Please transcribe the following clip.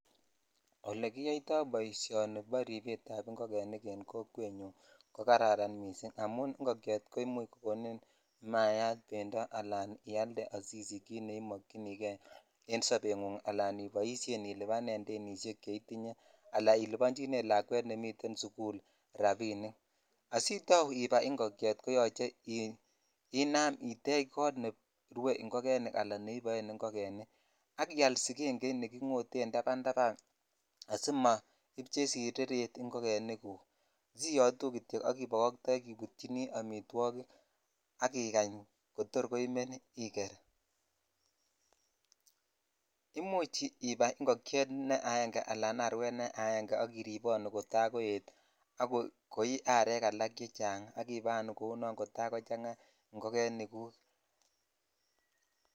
Ole kiyoitoi boisioni bo ripet ab ingogenik en kokwet nyun ko kararan missing amun ingokyet ko imuch kokonin imayat bendoo ala ialde asisich kit nemokyini kei en sobengung ala iboishen ilibanen danishek che itinye ala ilibonchine lakwet nemiten sukul rabinik asitau ibai ingokyet koyoche inam itech kot nerue ingogenik ala neiboen ingogenik ak ial digengeit ingoten tapntapn asimoib chesireret ingogenik guk siyotu kityo ak ibokoitoi ak ibutyin amitwogik ak ikany kotor koimen iker (puse ) imuch ibai ingokyet neo ala arwet ak iriponu kota koet ak koi arek ala chechang ak ibaanu kou non kotakochang ingogenik guk.